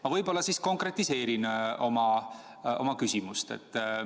Ma võib-olla siis konkretiseerin oma küsimust.